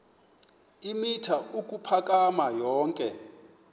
eemitha ukuphakama yonke